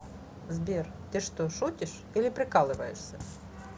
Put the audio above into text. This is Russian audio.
сбер ты что шутишьили прикалываешься